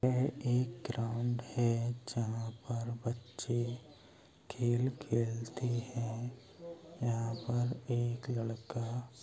यह एक ग्राउन्ड है जहाँ पर बच्चे खेल खेलते हैं यहाँ पर एक लड़का --